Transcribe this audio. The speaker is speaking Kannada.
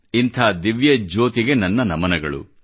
ಇಂಥ ದಿವ್ಯಜ್ಯೋತಿಗೆ ನನ್ನ ನಮನಗಳು